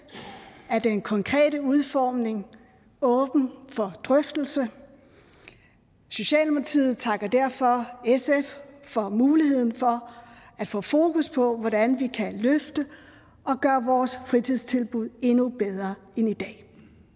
er den konkrete udformning åben for drøftelse socialdemokratiet takker derfor sf for muligheden for at få fokus på hvordan vi kan løfte vores fritidstilbud endnu bedre end i dag